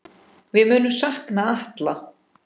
Við munum sakna Atla.